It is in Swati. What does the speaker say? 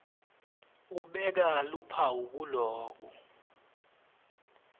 ubeka luphawu kulowo